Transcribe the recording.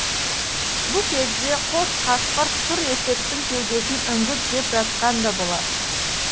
бұ кезде қос қасқыр сұр есектің кеудесін үңгіп жеп жатқан да болар